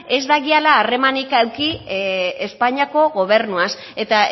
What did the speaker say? ez dagiala harremanik eduki espainiako gobernuaz eta